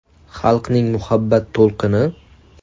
Xalqning muhabbat to‘lqini?